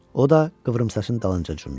O da Qıvrımsaçın dalınca cumdu.